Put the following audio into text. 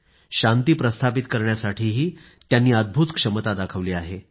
जिथे शांती प्रस्थापित करण्यासाठी त्यांनी अदभूत क्षमता दाखवली आहे